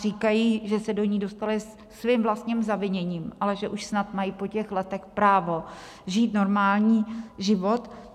Říkají, že se do ní dostali svým vlastním zaviněním, ale že snad už mají po těch letech právo žít normální život.